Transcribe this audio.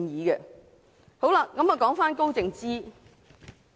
現在再說說高靜芝。